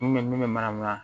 N kun bɛ min bɛ manamanakan